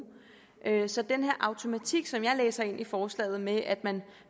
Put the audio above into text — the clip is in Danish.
så den her automatik som jeg læser i forslaget med at man